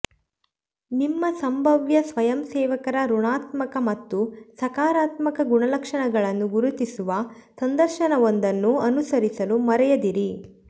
ನಿಮ್ಮ ಸಂಭಾವ್ಯ ಸ್ವಯಂಸೇವಕರ ಋಣಾತ್ಮಕ ಮತ್ತು ಸಕಾರಾತ್ಮಕ ಗುಣಲಕ್ಷಣಗಳನ್ನು ಗುರುತಿಸುವ ಸಂದರ್ಶನವೊಂದನ್ನು ಅನುಸರಿಸಲು ಮರೆಯದಿರಿ